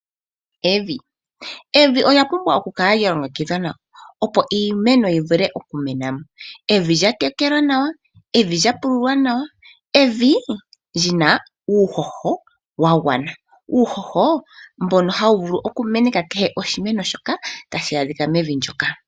Evi Evi olya pumbwa okukala lya longekidhwa nawa, opo iimeno yi vule okumena mo. Evi lya tekelwa nawa, evi lya pululwa nawa, evi li na uuhoho wa gwana. Uuhoho mbono hawu vulu okumeneka kehe oshimeno tashi adhika mevi ndyoka.